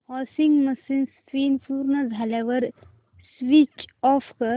washing machine spin पूर्ण झाल्यावर switch off कर